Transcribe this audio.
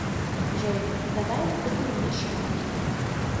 джой давай купим мне шмотки